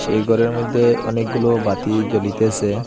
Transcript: এই ঘরের মধ্যে অনেকগুলো বাতি জ্বলিতেসে।